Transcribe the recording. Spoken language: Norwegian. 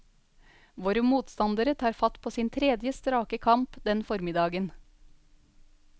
Våre motstandere tar fatt på sin tredje strake kamp den formiddagen.